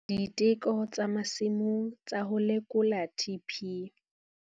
Diteko tsa masimong tsa ho lekola TP